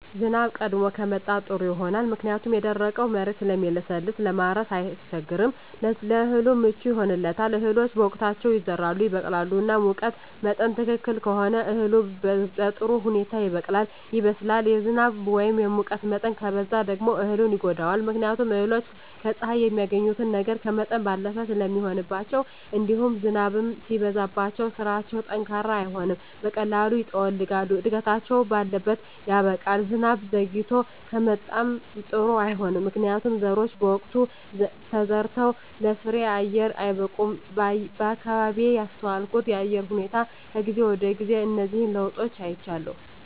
ዝናብ ቀድሞ ከመጣ ጥሩ ይሆናል ምክንያቱም የደረቀዉ መሬት ስለሚለሰልስ ለማረስ አያስቸግርም ለእህሉ ምቹ ይሆንለታል እህሎች በወቅታቸዉ ይዘራሉ ይበቅላሉ እና ሙቀት መጠን ትክክል ከሆነ እህሉ በጥሩ ሁኔታ ይበቅላል ይበስላል የዝናብ ወይም የሙቀት መጠን ከበዛ ደግሞ እህሉን ይጎዳዋል ምክንያቱም እህሎች ከፀሐይ የሚያገኙትን ነገር ከመጠን ባለፈ ስለሚሆንባቸዉእንዲሁም ዝናብም ሲበዛባቸዉ ስራቸዉ ጠንካራ አይሆንም በቀላሉ ይጠወልጋሉ እድገታቸዉ ባለት ያበቃል ዝናብ ዘይግቶ ከመጣም ጥሩ አይሆንም ምክንያቱም ዘሮች በወቅቱ ተዘርተዉ ለፍሬየአየር አይበቁም በአካባቢየ ያስተዋልኩት የአየር ሁኔታ ከጊዜ ወደጊዜ እነዚህን ለዉጦች አይቻለሁ